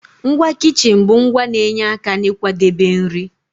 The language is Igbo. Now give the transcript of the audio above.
Ngwa kichin bụ ngwa na-enye aka n'ịkwadebe nri.